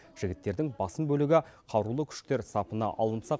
жігіттердің басым бөлігі қарулы күштер сапына алынса